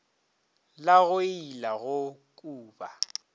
la go ila go kuba